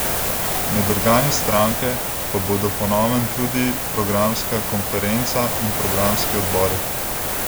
Med organi stranke pa bodo po novem tudi programska konferenca in programski odbori.